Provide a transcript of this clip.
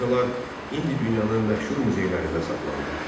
Bu xalçalar indi dünyanın məşhur muzeylərində saxlanılır.